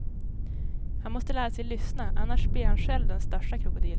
Han måste lära sig lyssna, annars blir han själv den största krokodilen.